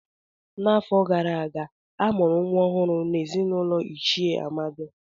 N'afọ gara aga, a mụrụ nwa ọhụrụ n'ezinụlọ Ichie Amadi.